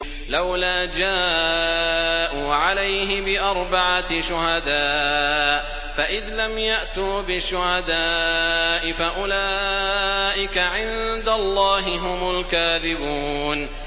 لَّوْلَا جَاءُوا عَلَيْهِ بِأَرْبَعَةِ شُهَدَاءَ ۚ فَإِذْ لَمْ يَأْتُوا بِالشُّهَدَاءِ فَأُولَٰئِكَ عِندَ اللَّهِ هُمُ الْكَاذِبُونَ